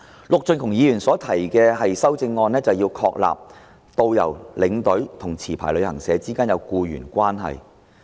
陸頌雄議員所提的修正案，是要確立導遊、領隊及持牌旅行社之間必須有僱傭關係。